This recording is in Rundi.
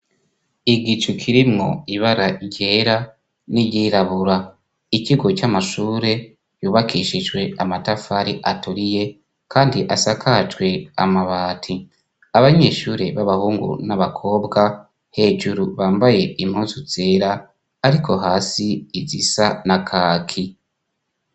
Igicu kirimwo ibara ryera n'iryirabura, ikigo c'amashure yubakishijwe amatafari aturiye kandi asakajwe amabati, abanyeshure b'abahungu n'abakobwa hejuru bambaye impuzu zera ariko hasi izisa na kaki.